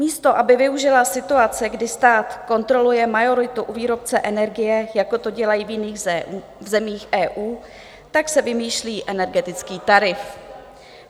Místo aby využila situace, kdy stát kontroluje majoritu u výrobce energie, jako to dělají v jiných zemích EU, tak se vymýšlí energetický tarif.